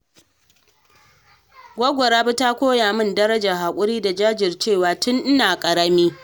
Goggo Rabi ta koya min darajar hakuri da jajircewa tun ina ƙarami.